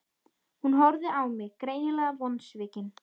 Hún horfði á mig, greinilega vonsvikin.